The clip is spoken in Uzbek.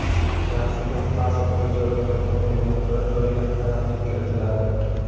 Shaxsiga, pasport bo‘yicha ro‘yxatga qo‘yilgan turar joyiga aniqlik kiritiladi.